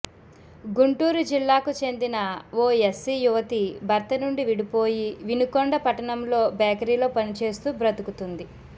గుంటూరు జిల్లాకు చెందిన ఓ యస్సి యువతి భర్త నుండి విడిపోయి వినుకొండ పట్టణంలో బేకరీ లో పనిచేస్తూ బతుకుతుంది